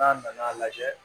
N'a nana lajɛ